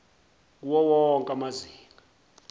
kuwo wonke amazinga